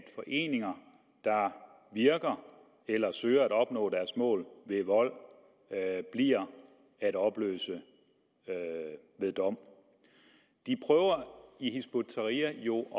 foreninger der virker eller søger at opnå deres mål ved vold bliver at opløse ved dom de prøver i hizb ut tahrir jo